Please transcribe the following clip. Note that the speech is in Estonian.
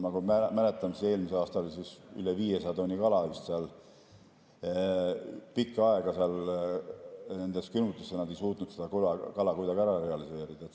Ma mäletan, eelmisel aastal oli üle 500 tonni kala pikka aega nendes külmutites ja nad ei suutnud seda kuidagi ära realiseerida.